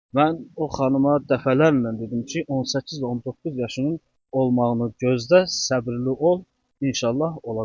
Mən o xanıma dəfələrlə dedim ki, 18-19 yaşının olmağını gözlə, səbrli ol, inşallah olacaq.